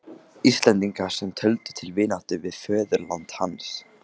Íslendinga, sem töldu til vináttu við föðurland hans.